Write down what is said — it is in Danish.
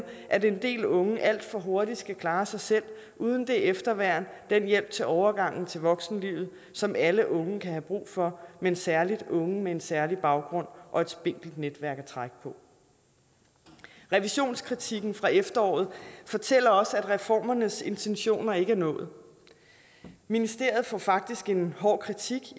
at en del unge alt for hurtigt skal klare sig selv uden det efterværn den hjælp til overgangen til voksenlivet som alle unge kan have brug for men særligt unge med en særlig baggrund og et spinkelt netværk at trække på revisionskritikken fra efteråret fortæller også at reformernes intentioner ikke er nået ministeriet får faktisk en hård kritik